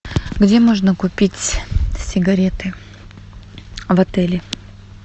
где можно купить сигареты в отеле